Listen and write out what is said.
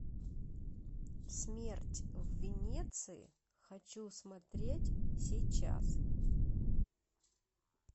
смерть в венеции хочу смотреть сейчас